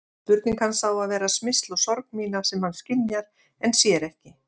Spurning hans á að vera smyrsl á sorg mína sem hann skynjar en sér ekki.